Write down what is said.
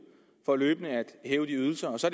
for løbende at hæve ydelserne og så